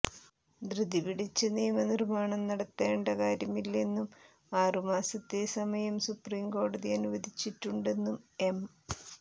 ധൃതി പിടിച്ച് നിയമ നിര്മ്മാണം നടത്തേണ്ട കാര്യമില്ലെന്നും ആറു മാസത്തെ സമയം സുപ്രീം കോടതി അനുവദിച്ചിട്ടുണ്ടെന്നും എം